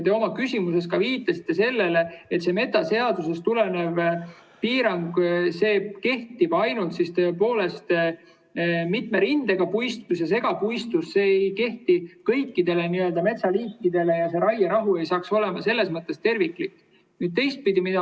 Te oma küsimuses ka viitasite sellele, et metsaseadusest tulenev piirang kehtib ainult tõepoolest mitme rindega puistus ja segapuistus, see ei kehti kõikidele metsaliikidele ja see raierahu ei oleks selles mõttes terviklik.